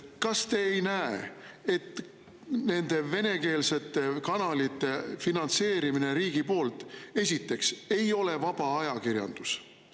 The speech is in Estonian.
Kas te ei näe, esiteks, et nende venekeelsete kanalite finantseerimise puhul riigi poolt ei ole see vaba ajakirjandus?